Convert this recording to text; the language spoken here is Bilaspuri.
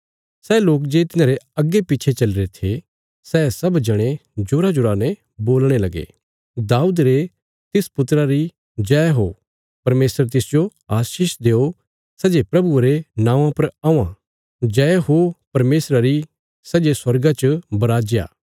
सै लोक जे तिन्हारे अग्गे पिच्छे चलीरे थे सै सब जणे जोराजोरा ने बोलणे लगे राजा दाऊद रे तिस वंशजा री जय हो परमेशर तिसजो आशीष देओ सै जे प्रभुये रे नौआं पर औआं जय हो परमेशरा री सै जे स्वर्गा च बराजा